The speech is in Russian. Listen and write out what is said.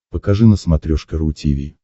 покажи на смотрешке ру ти ви